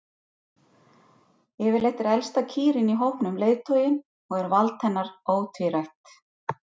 Yfirleitt er elsta kýrin í hópnum leiðtoginn og er vald hennar ótvírætt.